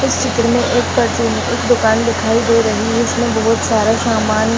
इस चित्र में एक फार्च्यून एक दुकान दिखाई दे रही है इसमें बहुत सारा सामान --